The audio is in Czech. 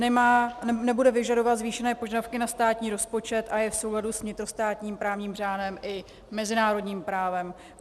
Nebude vyžadovat zvýšené požadavky na státní rozpočet a je v souladu s vnitrostátním právním řádem i mezinárodním právem.